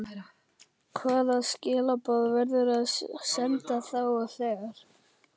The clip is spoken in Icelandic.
Hvaða skilaboð verður að senda þá og þegar?